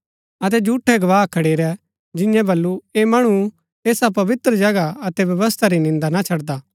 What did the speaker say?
अतै झूठै गवाह खडेरै जिन्यैं बल्लू ऐह मणु ऐसा पवित्र जगह अतै व्यवस्था री निन्दा ना छड़दा